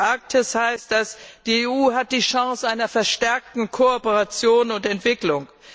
Für die Arktis heißt das Die EU hat die Chance einer verstärkten Kooperation und Entwicklung.